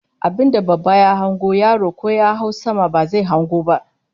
Abinda babba ya hango yaro ko ya hau sama ba zai hango ba